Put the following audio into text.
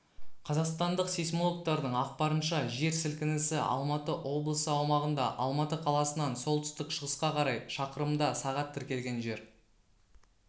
қазақстандық сейсмологтардың ақпарынша жер сілкінісі алматы облысы аумағында алматы қаласынан солтүстік-шығысқа қарай шақырымда сағат тіркелген жер